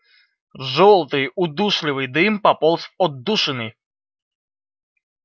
жёлтый удушливый дым пополз в отдушины